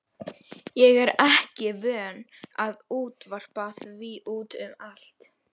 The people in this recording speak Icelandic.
Ég er ekki vön að útvarpa því út um allt.